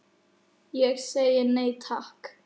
Ég segi nei, takk.